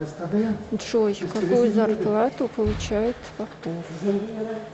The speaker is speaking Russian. джой какую зарплату получает попов